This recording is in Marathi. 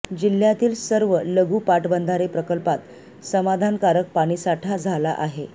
जिल्ह्यातील सर्व लघू पाटबंधारे प्रकल्पात समाधानकारक पाणीसाठा झाला आहे